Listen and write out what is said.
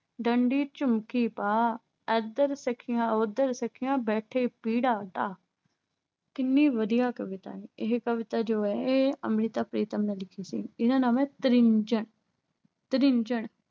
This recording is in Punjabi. ਡੰਡੀ ਝੁਮਕੇ ਪਾ। ਇਧਰ ਸਖੀਆਂ ਉਧਰ ਸਖੀਆਂ ਬੈਠੇ ਪੀੜਾ ਡਾਹ। ਕਿੰਨੀ ਵਧੀਆ ਕਵਿਤਾ ਹੈ। ਇਹ ਕਵਿਤਾ ਜੋ ਹੈ, ਇਹ ਅੰਮ੍ਰਿਤਾ ਪ੍ਰੀਤਮ ਨੇ ਲਿਖੀ ਸੀ। ਇਹਦਾ ਨਾਮ ਐ ਤ੍ਰਿੰਜਣ